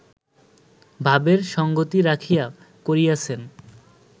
ভাবের সঙ্গতি রাখিয়া করিয়াছেন